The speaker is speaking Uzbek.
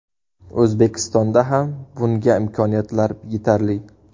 O‘zbekistonda ham bunga imkoniyatlar yetarli.